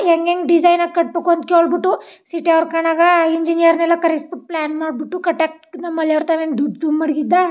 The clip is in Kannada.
ಹೆಂಗ್ ಹೆಂಗ್ ಡಿಸೈನ್ ಆಗಿ ಕಟ್ಟಬೇಕು ಅಂತ ಕೇಳಬಿಟ್ಟು ಸಿಟಿ ಆರ್ ಕಣಗ್ ಇಂಜಿನಿಯರ್ ನೆಲ್ಲಾ ಕರ್ಸಬಿಟ್ಟು ಪ್ಲೇನ್ ಮಾಡಬಿಟ್ಟು ಕಟ್ಟಕ್ ನಮ್ಮ ಮಲೆರ್ ತವ್ ಏನ್ ದುಡ್ಡ್ ಚುಮ್ ಮಡಗಿದ್ದಾ.